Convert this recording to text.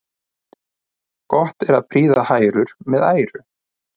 Gott er að prýða hrærur með æru.